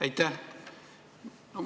Aitäh!